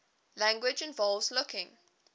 language involves looking